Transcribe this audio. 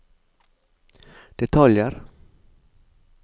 detaljer